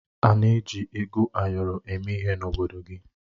Ana eji ego ayọrọ eme ihe n'obodo gị?